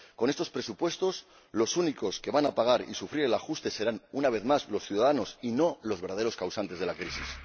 con estos presupuestos, los únicos que van a pagar y sufrir el ajuste serán, una vez más, los ciudadanos, y no los verdaderos causantes de la crisis.